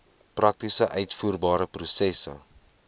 prakties uitvoerbare prosesse